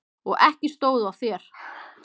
Og ekki stóð á þér!